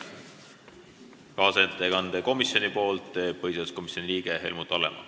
Kaasettekande komisjoni nimel teeb põhiseaduskomisjoni liige Helmut Hallemaa.